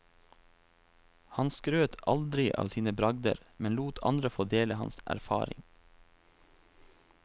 Han skrøt aldri av sine bragder, men lot andre få dele hans erfaring.